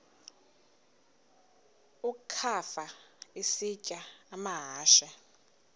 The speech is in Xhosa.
ukafa isitya amahashe